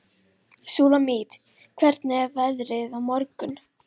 Súlamít, hvernig er veðrið á morgun?